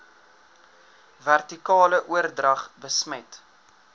vertikale oordrag besmet